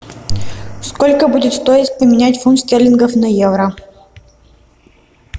сколько будет стоить поменять фунт стерлингов на евро